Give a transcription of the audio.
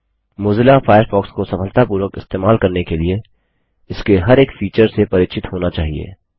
Mozilla Firefox को सफलतापूर्वक इस्तेमाल करने के लिए इसके हर एक फीचर से परिचित होना चाहिए